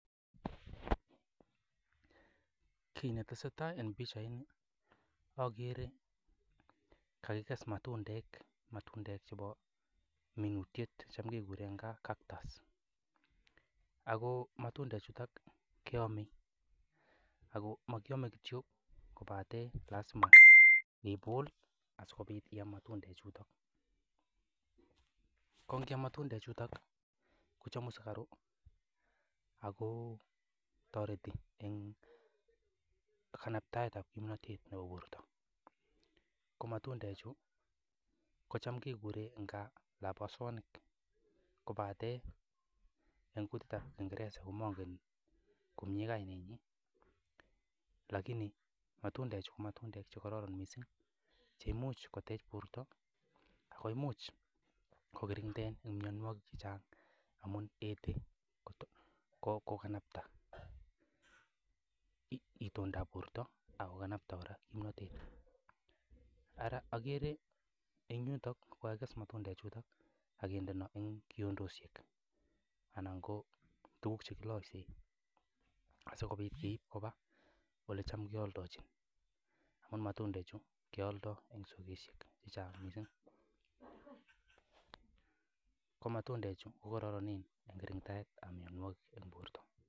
Kit netesetai en pichaini ogere kagikes matundek, matundek chebo minutyet, cham keguren cactus agomatundek chuto keome. Ago mokyome kityo kobate lazima ibul asikobit i-am matundek chuto. Ko ngoiam matundechuto kochomu sugaruk ago toreti en kanabtaet ab kimnatet nebo borto. Ko matundechu kocham kegure ne gaa labotonik kobate en kutitab kiingereza komangen komye kainenyin. Lakini matundechu ko matundek che kororon mising che imuch kotech borto ago imuch kokiranda mianwogik che chang amun imuche koganapta itondab borto ak koganapta kora kimnatet. Ara ogere en yuto kogakikes matundechuto ak kinde kiondoshek anan ko tuguk che kiloisen asikobit keib koba olecham keoldochin amun matundechu keolde en chogoishek che chang mising. Ko matundechu ko koronen en kirindaetab mianwogik en borto.